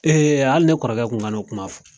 hali ne kɔrɔkɛ kun kan'o kuma fɔ.